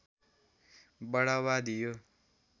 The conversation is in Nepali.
बढावा दियो